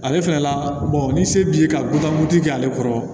Ale fɛnɛ la ni se b'i ye ka butamu ti kɛ ale kɔrɔ